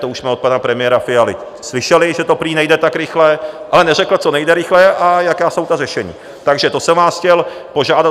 To už jsme od pana premiéra Fialy slyšeli, že to prý nejde tak rychle, ale neřekl, co jde rychle a jaká jsou ta řešení, takže to jsem vás chtěl požádat.